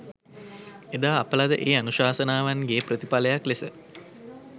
එදා අප ලද ඒ අනුශාසනාවන්ගේ ප්‍රතිඵලයක් ලෙස